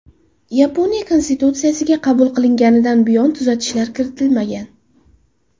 Yaponiya Konstitutsiyasiga qabul qilinganidan buyon tuzatishlar kiritilmagan.